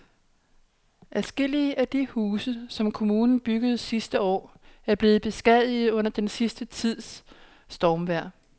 Adskillige af de huse, som kommunen byggede sidste år, er blevet beskadiget under den sidste tids stormvejr.